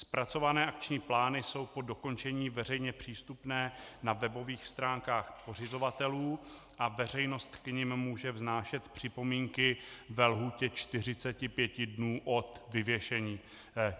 Zpracované akční plány jsou po dokončení veřejně přístupné na webových stránkách pořizovatelů a veřejnost k nim může vznášet připomínky ve lhůtě 45 dnů od vyvěšení.